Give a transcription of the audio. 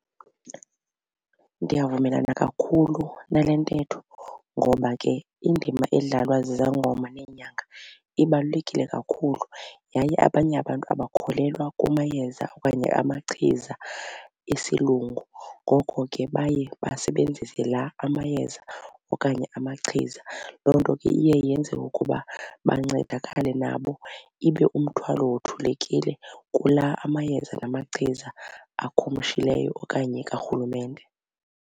Ndiyavumelana kakhulu nale ntetho ngoba ke indima edlalwa zizangoma neenyanga ibalulekile kakhulu yaye abanye abantu abakholelwa kumayeza okanye amachiza esiLungu. Ngoko ke baye basebenzise la amayeza okanye amachiza. Loo nto ke iye yenze ukuba bancedakale nabo ibe umthwalo wothulekile kula amayeza namachiza akhumshileyo okanye kaRhulumente.